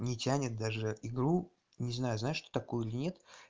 не тянет даже игру не знаю знаешь что такое или нет